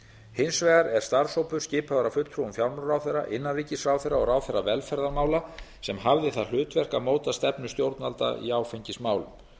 hins vegar er starfshópur skipaður af fulltrúum fjármálaráðherra innanríkisráðherra og ráðherra velferðarmála sem hafði það hlutverk að móta stefnu stjórnvalda í áfengismálum